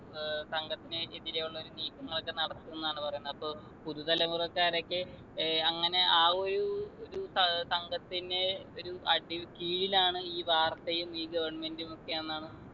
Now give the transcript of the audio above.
ഏർ സംഘത്തിന് എതിരേയുള്ളൊരു നീക്കങ്ങളൊക്കെ നടത്തുന്നാണ് പറയുന്നെ അപ്പൊ പുതു തലമുറക്കാരൊക്കെ ഏർ അങ്ങനെ ആ ഒരു ഒരു സ സംഘത്തിനെ ഒരു അടി കീഴിലാണ് ഈ വാർത്തയും ഈ government ഉം ഒക്കെ എന്നാണ്